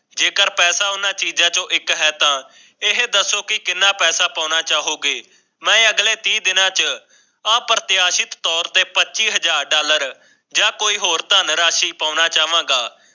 ਜੇਕਰ ਪੈਸਾ ਉਨ੍ਹਾਂ ਚੀਜ਼ਾਂ ਤੋਂ ਇੱਕ ਹੈ ਤਾਂ ਇਹ ਦੱਸੋ ਕਿ ਇਨ੍ਹਾਂ ਪਰਦਾ ਪਾਉਣਾ ਚਾਹੋਗੇ। ਮੈਂ ਅਗਲੇ ਤੀਹ ਦਿਨਾਂ ਚ ਅਪ੍ਰਤਆਸ਼ਿਤ ਤੋਰ ਤੇ ਪੱਚੀ ਹਜ਼ਾਰ ਡਾਲਰ ਜਾਂ ਕੋਈ ਹੋਰ ਧੰਨ ਰਾਸ਼ੀ ਪਾਉਣਾ ਚਾਵਾਂਗਾ।